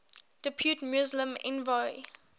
depute muslim envoy